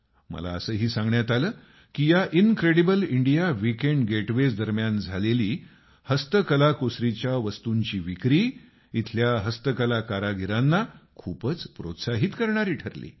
मला असंही सांगण्यात आलं की या इन्क्रेडिबल इंडिया विकेंड गेटवेज दरम्यान झालेली हस्त कलाकुसरीच्या वस्तूंची विक्री इथल्या हस्तकला कारागिरांना प्रोत्साहित करणारी ठरली